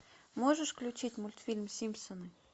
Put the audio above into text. можешь включить мультфильм симпсоны